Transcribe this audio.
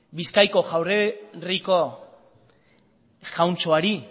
bizkaiko jaurerriko jauntxoari